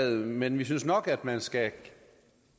men vi synes nok at man skal